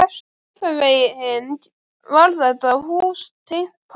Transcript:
Einhvern veginn var þetta hús tengt pabba.